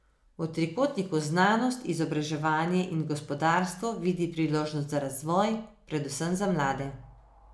V trikotniku znanost, izobraževanje in gospodarstvo vidi priložnosti za razvoj, predvsem za mlade.